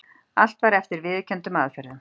Allt var eftir viðurkenndum aðferðum.